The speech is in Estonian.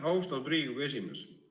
Austatud Riigikogu esimees!